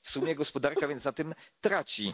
W sumie gospodarka więc na tym traci.